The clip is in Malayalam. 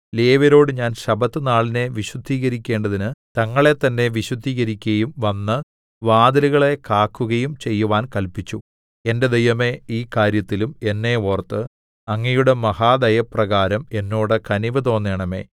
ലേവ്യരോട് ഞാൻ ശബ്ബത്തുനാളിനെ വിശുദ്ധീകരിക്കേണ്ടതിന് തങ്ങളെത്തന്നെ വിശുദ്ധീകരിക്കയും വന്ന് വാതിലുകളെ കാക്കുകയും ചെയ്യുവാൻ കല്പിച്ചു എന്റെ ദൈവമേ ഈ കാര്യത്തിലും എന്നെ ഓർത്ത് അങ്ങയുടെ മഹാദയപ്രകാരം എന്നോട് കനിവ് തോന്നേണമേ